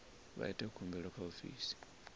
vha ite khumbelo kha ofisi